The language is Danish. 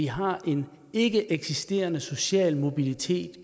har vi en ikkeeksisterende social mobilitet